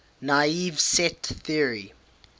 naive set theory